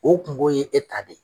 O kungo ye e ta de ye.